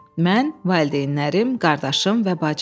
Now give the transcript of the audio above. Mən, valideynlərim, qardaşım və bacım.